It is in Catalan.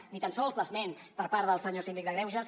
ni tan sols l’esment per part del senyor síndic de greuges